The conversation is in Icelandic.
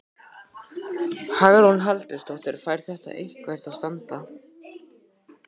Hugrún Halldórsdóttir: Fær þetta eitthvað að standa?